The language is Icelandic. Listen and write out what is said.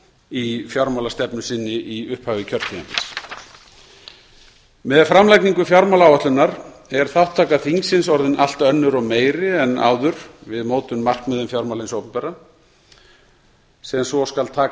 í fjármálastefnu sinni í upphafi kjörtímabils með framlagningu fjármálaáætlunar er þátttaka þingsins orðin allt önnur og meiri en áður við mótun markmiða um fjármál hins opinbera sem svo skal taka mið